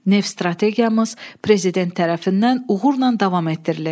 Neft strategiyamız prezident tərəfindən uğurla davam etdirilir.